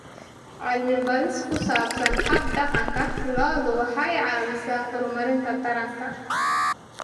Cilmi-baadhis ku saabsan hab-dhaqanka lo'du waxay caawisaa horumarinta taranta.